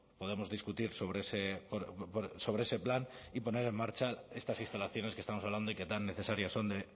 podemos discutir sobre ese plan y poner en marcha estas instalaciones que estamos hablando y que tan necesarias son de